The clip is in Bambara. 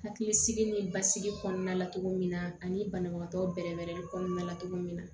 Hakilisigi ni basigi kɔnɔna la cogo min na ani banabagatɔ bɛrɛ bɛɛrɛli kɔnɔna la cogo min na